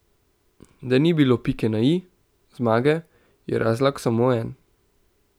Da ni bilo pike na i, zmage, je razlog samo en.